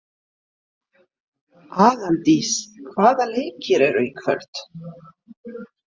Aðaldís, hvaða leikir eru í kvöld?